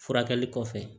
Furakɛli kɔfɛ